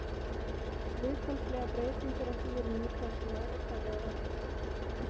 Hlutfallslegar breytingar á því eru notaðar sem mælikvarði á verðbólgu.